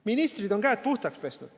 Ministrid on käed puhtaks pesnud.